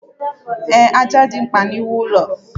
Ee, ájá dị mkpa n'iwu ụlọ.